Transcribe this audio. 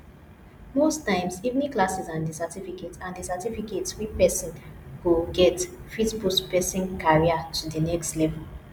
most times evening classes and di certificate and di certificate we person go get fit boost person career to di next level